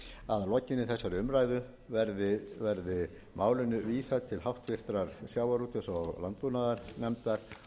að lokinni þessari umræðu verði málinu vísað til háttvirtrar sjávarútvegs og landbúnaðarnefndar